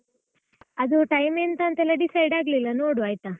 ಅದು time ಎಂತ ಅಂತ ಎಲ್ಲ decide ಆಗ್ಲಿಲ್ಲ ನೋಡುವ ಆಯ್ತಾ.